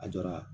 A jɔra